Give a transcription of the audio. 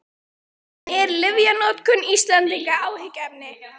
En er lyfjanotkun Íslendinga áhyggjuefni?